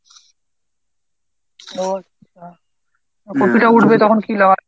ও আচ্ছা। কপিটা উঠবে তখন কী লাগাবি?